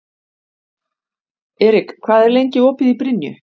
Erik, hvað er lengi opið í Brynju?